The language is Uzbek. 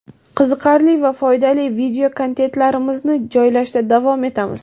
qiziqarli va foydali video-kontentlarimizni joylashda davom etamiz!.